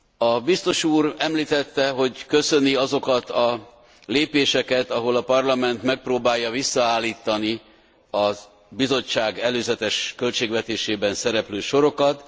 A biztos úr említette, hogy köszöni azokat a lépéseket, ahol a Parlament megpróbálja visszaállítani a Bizottság előzetes költségvetésében szereplő sorokat.